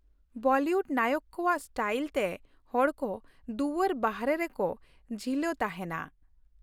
Bollywood ᱱᱟᱭᱚᱠ ᱠᱚᱣᱟᱜ style ᱛᱮ ᱦᱚᱲ ᱠᱚ ᱫᱩᱣᱟᱹᱨ ᱵᱟᱦᱚᱨᱮ ᱨᱮᱠᱚ ᱡᱷᱤᱞᱳ ᱛᱟᱦᱮᱱᱟ ᱾